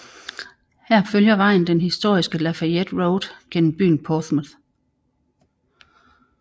Her følger vejen den historiske Lafayette Road gennem byen Portsmouth